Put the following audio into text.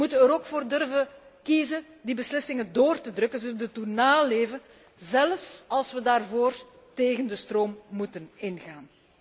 We moeten er ook voor durven kiezen die beslissingen erdoor te drukken, ze te doen naleven, zelfs als we daarvoor tegen de stroom moeten ingaan.